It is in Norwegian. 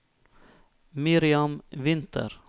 Miriam Winther